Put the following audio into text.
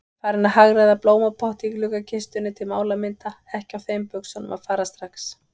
Farin að hagræða blómapotti í gluggakistunni til málamynda, ekki á þeim buxunum að fara strax.